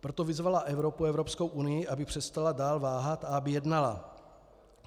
Proto vyzvala Evropu, Evropskou unii, aby přestala dál váhat a aby jednala.